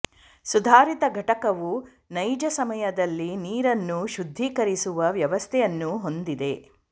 ಸುಧಾರಿತ ಘಕಟವು ನೈಜ ಸಮಯದಲ್ಲಿ ನೀರನ್ನು ಶುದ್ಧೀಕರಿಸುವ ವ್ಯವಸ್ಥೆಯನ್ನು ಹೊಂದಿದೆ